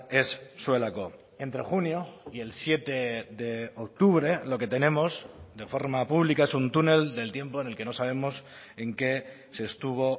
ez zuelako entre junio y el siete de octubre lo que tenemos de forma pública es un túnel del tiempo en el que no sabemos en qué se estuvo